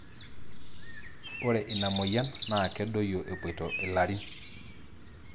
Ore ina moyian na kedoyio epoito ilarin.